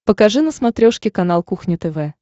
покажи на смотрешке канал кухня тв